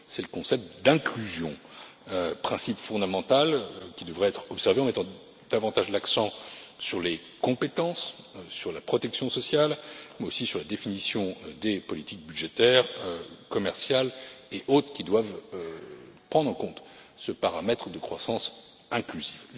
Il s'agit du concept d'inclusion, principe fondamental qui devrait être observé en mettant davantage l'accent sur les compétences, sur la protection sociale, mais aussi sur la définition des politiques budgétaires commerciales et autres qui doivent prendre en compte ce paramètre de croissance inclusive.